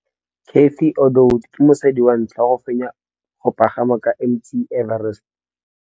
Cathy Odowd ke mosadi wa ntlha wa go fenya go pagama ga Mt Everest.